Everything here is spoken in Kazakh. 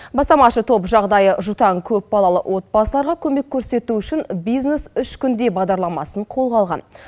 бастамашы топ жағдайы жұтаң көпбалалы отбасыларға көмек көрсету үшін бизнес үш күнде бағдарламасын қолға алған